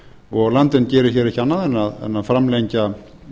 og landvernd gerir hér ekki annað en að framlengja